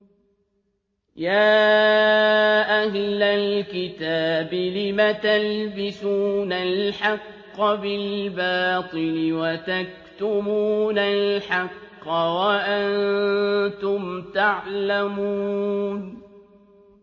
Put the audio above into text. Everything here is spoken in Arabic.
يَا أَهْلَ الْكِتَابِ لِمَ تَلْبِسُونَ الْحَقَّ بِالْبَاطِلِ وَتَكْتُمُونَ الْحَقَّ وَأَنتُمْ تَعْلَمُونَ